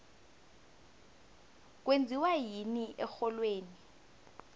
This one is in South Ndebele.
kwenziwani erholweni